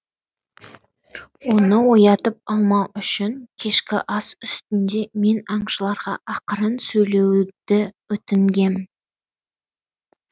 оны оятып алмау үшін кешкі ас үстінде мен аңшыларға ақырын сөйлеуді өтінгем